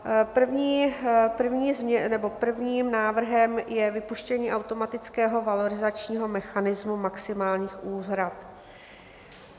Prvním návrhem je vypuštění automatického valorizačního mechanismu maximálních úhrad.